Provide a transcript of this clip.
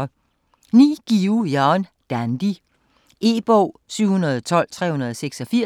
Guillou, Jan: Dandy E-bog 712386